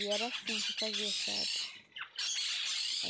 E era assim que eu fazia, sabe?